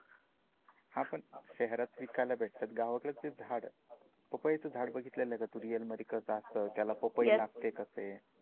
हा पण शहरात विकायला भेटतात, गावाकडे तेच झाड पपई च झाड बघितला का तू रीअल मध्ये कस असत, त्याला पपई लागते कसे?